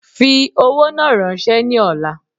Fi owó náà rànsẹ́ ni ọ̀la